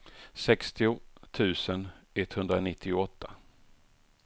sextio tusen etthundranittioåtta